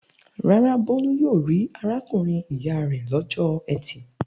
Rárá, Bólú yóò rí arákùnrin-ìyá rẹ̀ lọ́jọ́ ẹtì.